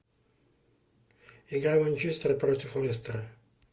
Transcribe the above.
игра манчестера против лестера